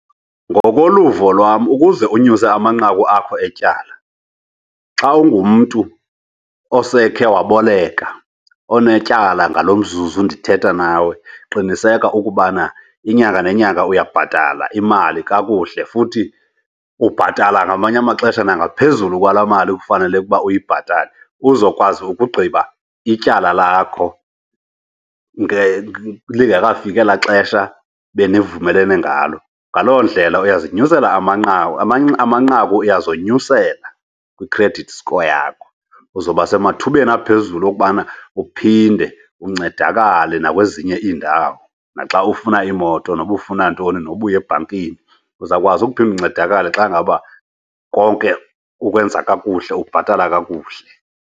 Ngokoluvo lwam ukuze unyuse amanqaku akho etyala, xa ungumntu osekhe waboleka onetyala ngalo mzuzu ndithetha nawe, qiniseka ukubana inyanga nenyanga uyabhatala imali kakuhle. Futhi ubhatala ngamanye amaxesha nangaphezulu kwala mali kufanele ukuba uyibhatale uzokwazi ukugqiba ityala lakho lingekafiki elaa xesha benivumelene ngalo. Ngaloo ndlela uyazinyusela amanqaku, amanqaku uyazonyusela kwi-credit score yakho. Uzoba semathubeni aphezulu okubana uphinde uncedakale nakwezinye iindawo naxa ufuna imoto noba ufuna ntoni, noba uye ebhankini, uzawukwazi ukuphinda uncedakale xa ngaba konke ukwenza kakuhle, ubhatala kakuhle.